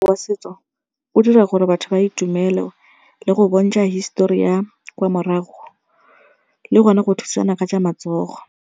Wa setso o dira gore batho ba itumele le go bontsha hisetori ya kwa morago le gone go thusana ka tsa matsogo.